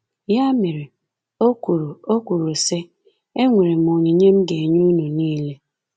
Ya mere, o kwuru, o kwuru, sị: “Enwere m onyinye m ga-enye unu nile.”